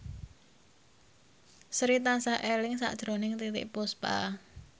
Sri tansah eling sakjroning Titiek Puspa